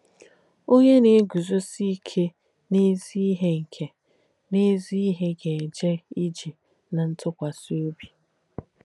‘Onyè Nà-ègùzọ́sì Ìke n’Ézí Íhe Ìke n’Ézí Íhe Gà-èjē Ìjē ná Ntùkwàsì Òbī’